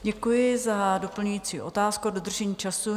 Děkuji za doplňující otázku a dodržení času.